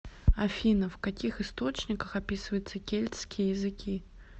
афина в каких источниках описывается кельтские языки